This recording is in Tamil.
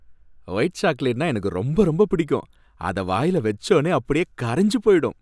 ஒயிட் சாக்லேட்னா எனக்கு ரொம்ப, ரொம்ப பிடிக்கும், அத வாயில வச்சோனே அப்டியே கரஞ்சு போயிடும்.